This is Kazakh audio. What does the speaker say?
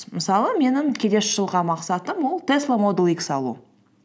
мысалы менің келесі жылға мақсатым ол тесла модуль икс алу